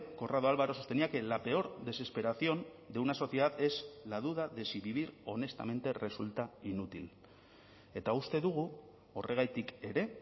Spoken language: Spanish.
corrado alvaro sostenía que la peor desesperación de una sociedad es la duda de si vivir honestamente resulta inútil eta uste dugu horregatik ere